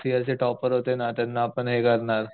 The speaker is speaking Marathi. लास्ट इयर चे टॉपर होते ना त्यांना आपण हे करणार